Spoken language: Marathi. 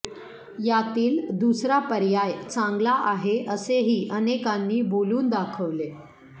यातील दुसरा पर्याय चांगला आहे असेही अनेकांनी बोलून दाखवले